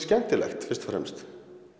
skemmtilegt fyrst og fremst